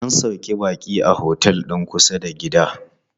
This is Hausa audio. An sauƙe baƙin a otel din kusa da gida.